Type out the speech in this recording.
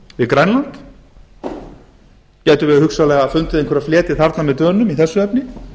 við grænland gætum við hugsanlega fundið einhverjar fleti þarna með dönum í þessu efni